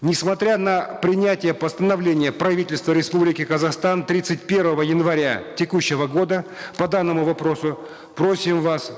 несмотря на принятие постановления правительства республики казахстан тридцать первого января текущего года по данному вопросу просим вас